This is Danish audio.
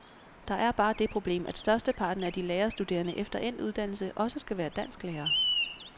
Der er bare det problem, at størsteparten af de lærerstuderende efter endt uddannelse også skal være dansklærere.